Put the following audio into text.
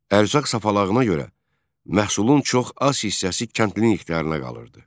Ərzaq sapalağına görə məhsulun çox az hissəsi kəndlinin ixtiyarına qalırdı.